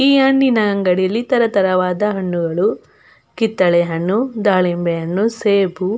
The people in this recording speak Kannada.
ಈ ಹಣ್ಣಿನ ಅಂಗಡಿಯಲ್ಲಿ ತರತರವಾದ ಹಣ್ಣುಗಳು ಕಿತ್ತಳೆ ಹಣ್ಣು ದಾಳಿಂಬೆ ಹಣ್ಣು ಸೇಬು--